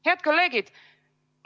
Head kolleegid!